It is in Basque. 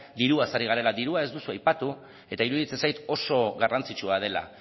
diruaz ari garela dirua ez duzu aipatu eta iruditzen zait oso garrantzitsua dela